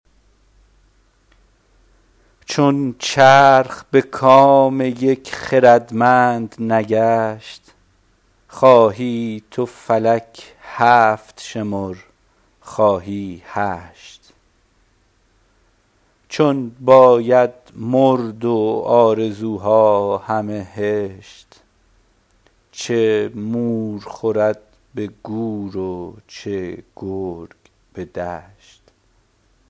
چون چرخ به کام یک خردمند نگشت خواهی تو فلک هفت شمر خواهی هشت چون باید مرد و آرزوها همه هشت چه مور خورد به گور و چه گرگ به دشت